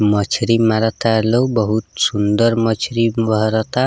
मछरी मारता लोग बहुत सुन्दर मछरी ।